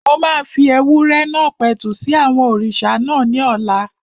Mo máa fi ewúrẹ́ náà pẹ̀tù sí àwọn òrìṣà náà ní ọ̀la